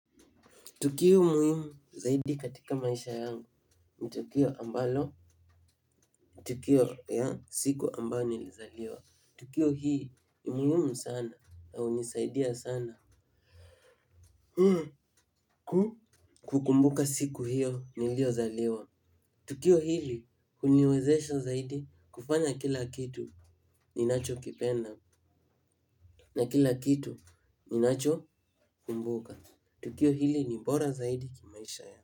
Tukio muhimu zaidi katika maisha yangu ni tukio ambalo, tukio ya siku ambao nilizaliwa. Tukio hii ni muhimu sana na hunisaidia sana kukumbuka siku hiyo niliyozaliwa. Tukio hili huniwezesha zaidi kufanya kila kitu ninachokipenda na kila kitu ninachokumbuka. Tukio hili ni bora zaidi kimaisha yangu.